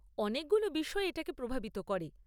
অনেকগুলো বিষয় এটাকে প্রভাবিত করে।